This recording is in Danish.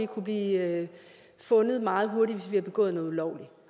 kunne blive fundet meget hurtigt hvis vi har begået noget ulovligt